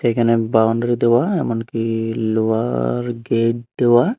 এখানে বাউন্ডারি দেওয়া এমনকি লোহার গেট দেওয়া।